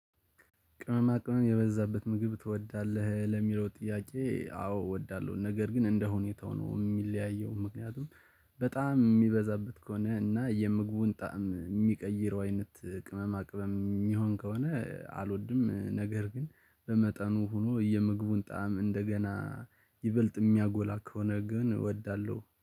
ቅመማ ቅመም የበዛበት ምግብ ትወዳለህ? ለሚለው ጥያቄ አዎ እወዳለሁ ነገር ግን እንደ ሁኔታው ነው የሚለያየው ምክንያቱም በጣም የሚበዛበት ከሆነ እና የምግቡን ጣዕም ሚቀይረው አይነት ቅመማ ቅመም የሚሆን ከሆነ አልወድም ነገር ግን በመጠኑም ሆኖ የምግቡን ጣዕም እንደገና ይበልጥ ያሚያጎላ ከሆነ ግን አውዳለሁ